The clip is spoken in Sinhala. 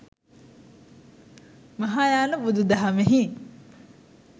මහායාන බුදු දහමෙහි